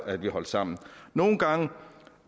at vi holdt sammen nogle gange